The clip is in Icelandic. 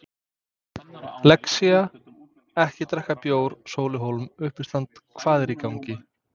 Lexía-ekki drekka bjór Sóli Hólm, uppistandari Hvað er í gangi?